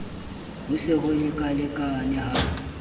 ke ho se lekalekane ha